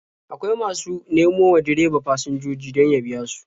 Akwai masu nemo wa direba fasinjoji don ya biya su.